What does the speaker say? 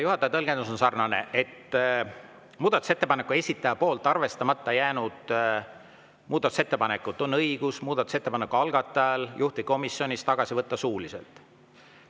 Juhataja tõlgendus on sarnane: poolt arvestamata jäänud muudatusettepanekut on muudatusettepaneku algatajal õigus juhtivkomisjonis tagasi võtta suuliselt.